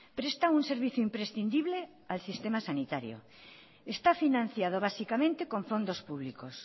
presta un servicio imprescindible al sistema sanitario está financiado básicamente con fondos públicos